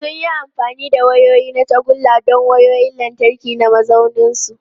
Sun yi amfani da wayoyi na tagulla don wayoyin lantarki na mazauninsu.